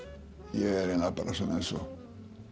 ég er eiginlega bara eins og